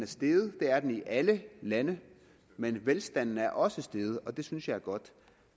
steget det er den i alle lande men velstanden er også steget og det synes jeg er godt